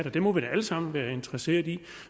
og det må vi da alle sammen være interesseret i